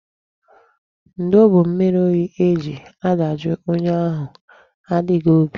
Ndo bụ mmiri oyi e ji adajụ onye ahụ adịghị obi.